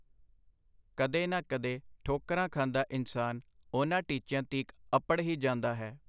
ਕਦੇ ਨਾ ਕਦੇ ਠੋਕਰਾਂ ਖਾਂਦਾ ਇਨਸਾਨ ਉਹਨਾਂ ਟੀਚਿਆਂ ਤੀਕ ਅਪੜ ਹੀ ਜਾਂਦਾ ਹੈ.